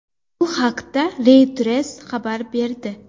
Bu haqda Reuters xabar berdi.